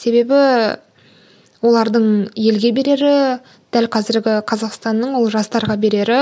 себебі олардың елге берері дәл қазіргі қазақстанның ол жастарға берері